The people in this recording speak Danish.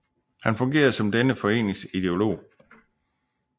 Han fungerede som denne foreningens ideolog